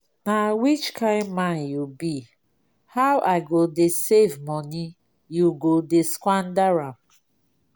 na which kin man you be? how i go dey save money you go dey squander am